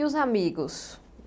E os amigos?